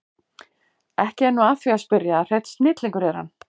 Ekki er nú að því að spyrja að hreinn snillingur er hann